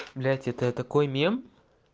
блять это такой мем